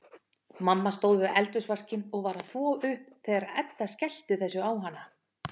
Mamma stóð við eldhúsvaskinn og var að þvo upp þegar Edda skellti þessu á hana.